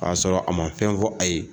A y'a sɔrɔ a ma fɛn fɔ a ye.